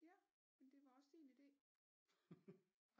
Ja men det var også din idé